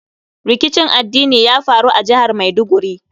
Rikicin addini ya faru a jihar Maiduguri.